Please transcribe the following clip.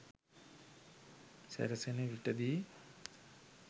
සැරසෙන විටදී